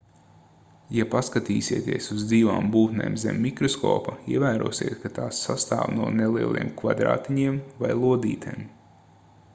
ja paskatīsieties uz dzīvām būtnēm zem mikroskopa ievērosiet ka tās sastāv no nelieliem kvadrātiņiem vai lodītēm